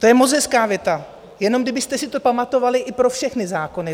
To je moc hezká věta, jenom kdybyste si to pamatovali i pro všechny zákony.